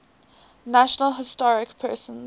national historic persons